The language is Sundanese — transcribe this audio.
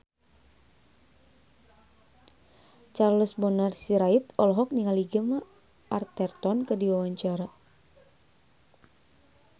Charles Bonar Sirait olohok ningali Gemma Arterton keur diwawancara